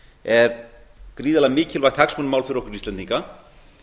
er gríðarlega mikilvægt hagsmunamál fyrir okkur íslendinga